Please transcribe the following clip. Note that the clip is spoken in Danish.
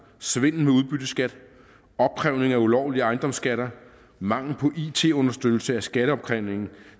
svindel med udbytteskat opkrævning af ulovlige ejendomsskatter mangel på it understøttelse af skatteopkrævningen og